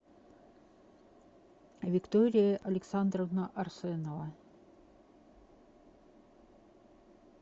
виктория александровна арсенова